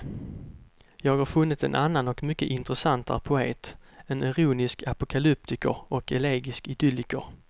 Jag har funnit en annan och mycket intressantare poet, en ironisk apokalyptiker och elegisk idylliker.